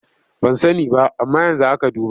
Ban sani ba amma yanzu aka duba.